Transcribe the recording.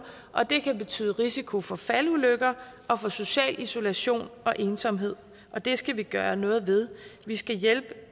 og det kan betyde en risiko for faldulykker og for social isolation og ensomhed og det skal vi gøre noget ved vi skal hjælpe